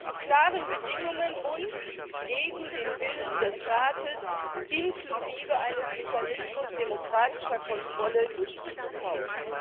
zu klaren Bedingungen und gegen den Willen des Rates, inklusive eines Mechanismus demokratischer Kontrolle durch dieses Haus.